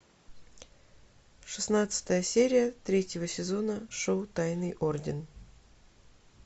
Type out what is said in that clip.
шестнадцатая серия третьего сезона шоу тайный орден